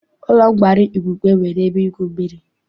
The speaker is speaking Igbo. Ụlọ nkwari Igbokwe nwere ebe igwu mmiri.